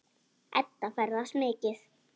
Edda ferðast mikið.